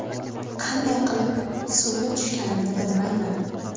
Qanday qilib suvga tushganimni bilmayman.